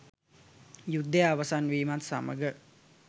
යුද්ධය අවසන් වීමත් සමග